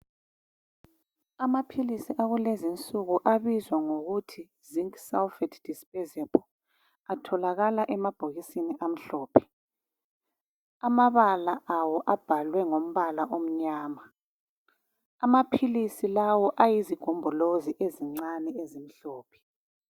Amaphilisi akulezi insuku abizwa ngokuthi "Zinc sulphate dispersible" atholakala emabhokisini amhlophe. Amabala awo abhalwe ngombala omnyama .Amaphilisi lawa ayizigombolozi ezincane ezimhlophe.